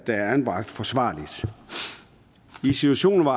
er anbragt forsvarligt i de situationer